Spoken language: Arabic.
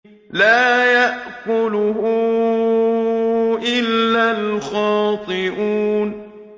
لَّا يَأْكُلُهُ إِلَّا الْخَاطِئُونَ